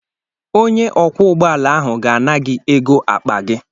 Onye ọkwọ ụgbọala ahụ ga-ana gị ego akpa gị